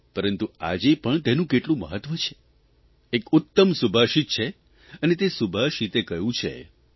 પરંતુ આજે પણ તેનું કેટલું મહત્વ છે એક ઉત્તમ સુભાષિત છે અને તે સુભાષિતે કહ્યું છેઃ